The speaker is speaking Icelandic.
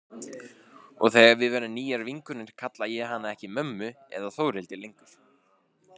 Og þegar við verðum nýjar vinkonur kalla ég hana ekki mömmu eða Þórhildi lengur.